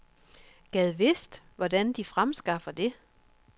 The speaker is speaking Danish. Gad vidst hvordan de fremskaffer det.